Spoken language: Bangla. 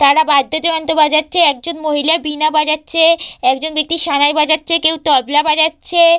তারা বাদ্যযন্ত্র বাজাচ্ছে একজন মহিলা বীণা বাজাচ্ছে একজন ব্যক্তি সানাই বাজাচ্ছে কেউ তবলা বাজাচ্ছে।